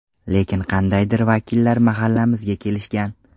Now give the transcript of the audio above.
Lekin qandaydir vakillar mahallamizga kelishgan.